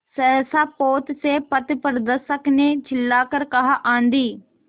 सहसा पोत से पथप्रदर्शक ने चिल्लाकर कहा आँधी